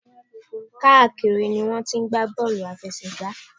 Káàkiri ni wọ́n ti ń gbá bọ́ọ̀lù àláfẹsẹ̀gbá.